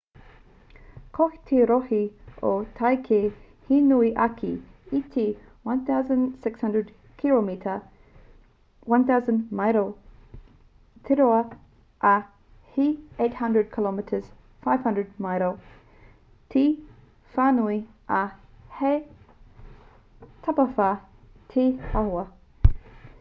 ko te rohe o tākei he nui ake i te 1,600 kiromita 1,000 māero te roa ā he 800 km 500 māero te whānui ā he tapawhā te āhua